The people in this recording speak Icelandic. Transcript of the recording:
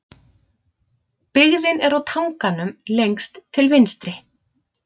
Byggðin er á tanganum lengst til vinstri.